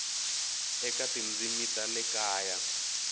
eka tindzimi ta le kaya